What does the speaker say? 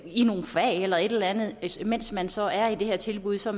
i nogle fag eller et eller andet mens man så er i det her tilbud så